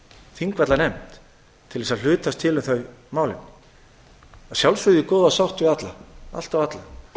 þingvallanefnd til þess að hlutast til um þau málefni að sjálfsögðu í góðri sátt við allt og alla